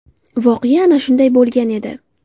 Voqea ana shunday bo‘lgan edi.